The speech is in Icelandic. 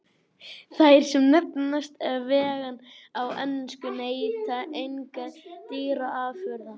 Þær sem nefnast vegan á ensku neyta engra dýraafurða.